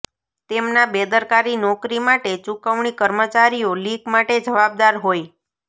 તેમના બેદરકારી નોકરી માટે ચૂકવણી કર્મચારીઓ લીક માટે જવાબદાર હોય